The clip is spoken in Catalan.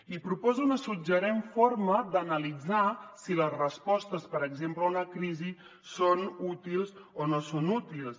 i proposa una suggerent forma d’analitzar si les respostes per exemple a una crisi són útils o no són útils